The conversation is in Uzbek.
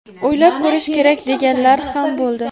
o‘ylab ko‘rish kerak deganlar ham bo‘ldi.